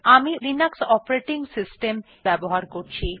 আমি Linux operating system যবহার করছি